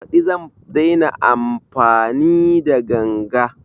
Baɗi zan daina amfani da ganga